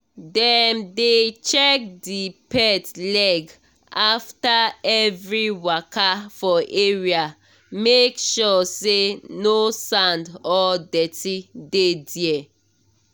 dem dey check the pet leg after every waka for area make sure say no sand or dirty dey there.